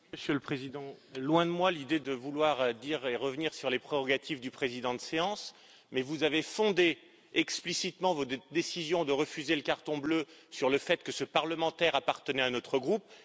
Monsieur le Président, loin de moi l'idée de vouloir revenir sur les prérogatives du président de séance, mais vous avez fondé explicitement votre décision de refuser le carton bleu sur le fait que ce parlementaire appartenait à notre groupe.